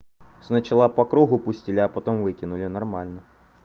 сначала по кругу пустили а потом выкинули нормально